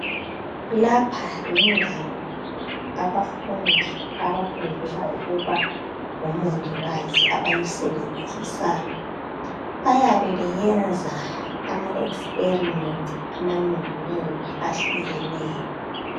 Lapha lindawo abafundi abafundela ukuba ngomongikazi abayisisebenzisayo bayabe beyenza amaExperiment amanengi-nengi akhukeneyo